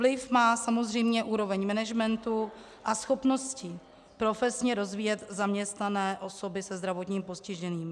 Vliv má samozřejmě úroveň management a schopnosti profesně rozvíjet zaměstnané osoby se zdravotním postižením.